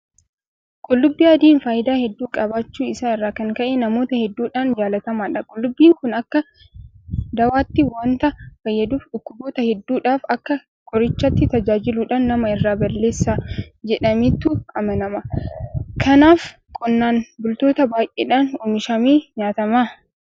Qullubbii adiin faayidaa hedduu qabaachuu isaa irraa kan ka'e namoota hedduudhaan jaalatamaadha. Qullubbiin kun akka dawaatti waanta fayyaduuf dhukkuboota hedduudhaaf akka qorichaatti tajaajiluudhaan nama irraa balleessa jedhameetu amanama. Kanaaf qonnaan bultoota baay'eedhaan oomishamee nyaatama.